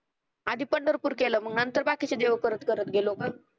आधी पंढरपूर केलं मग नंतर बाकीचे देव करत करत गेलो ग